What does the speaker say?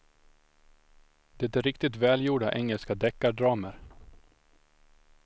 Det är riktigt välgjorda engelska deckardramer.